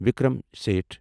Vikram Seth